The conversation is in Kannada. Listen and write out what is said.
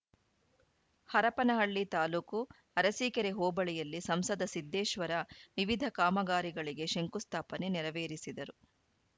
ಹರಪನಹಳ್ಳಿ ತಾಲೂಕು ಅರಸಿಕೇರಿ ಹೋಬಳಿಯಲ್ಲಿ ಸಂಸದ ಸಿದ್ದೇಶ್ವರ ವಿವಿಧ ಕಾಮಗಾರಿಗಳಿಗೆ ಶಂಕುಸ್ಥಾಪನೆ ನೆರವೇರಿಸಿದರು